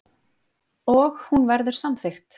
Og hún verður samþykkt.